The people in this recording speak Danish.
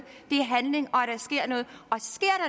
og